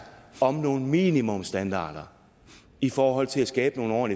om nogle minimumsstandarder i forhold til at skabe nogle